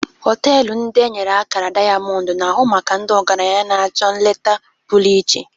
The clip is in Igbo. Họtelụ ndị e nyere akara dayamọndụ na-ahụ maka ndị ọgaranya na-achọ nleta pụrụ iche.